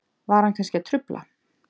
Var hann kannski að trufla?